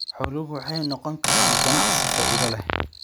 Xooluhu waxay noqon karaan ganacsi faa'iido leh.